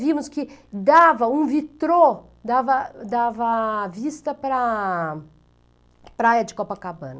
Vimos que dava um vitrô, dava dava vista para a praia de Copacabana.